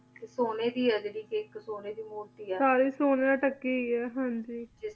ਤਾ ਹੁਣ ਆ ਕਾ ਸੋਨਾ ਦੀ ਆ ਸੋਨਾ ਦੀ ਮੂਰਤੀ ਆ ਹਨ ਗੀ ਸਾਰੀ